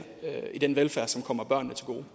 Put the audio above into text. i den velfærd som kommer børnene til gode